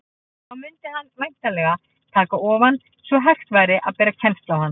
Þá mundi hann væntanlega taka ofan, svo hægt væri að bera kennsl á hann.